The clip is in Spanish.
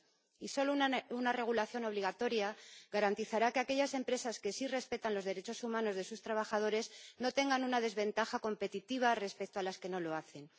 Y solo una regulación obligatoria garantizará que aquellas empresas que sí respetan los derechos humanos de sus trabajadores no tengan una desventaja competitiva respecto a las que no lo hacen.